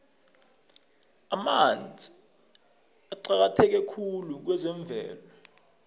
amanzi aqakatheke khulu kwezemvelo